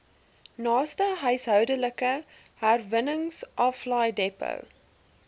naaste huishoudelike herwinningsaflaaidepot